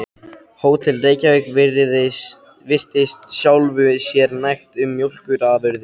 Hótel Reykjavík virtist sjálfu sér nægt um mjólkurafurðir.